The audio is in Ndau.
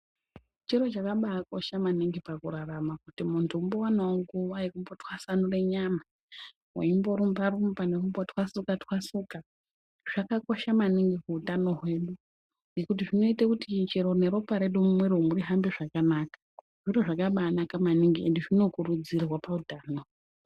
Chiro chakabai kosha maningi paku rarama kuti muntu ambo wanawo nguva yeku twasanura nyama nekumbo rumba rumba nekumbo twasuka twasuka zvakakosha maningi mu utano hwedu ngekuti zvinoite kuti chero ne ropa redu mu mwiri umu rihambe zvakanaka zviro zvakabai naka maningi ende zvino kurudzirwa pa utano.